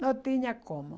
Não tinha como.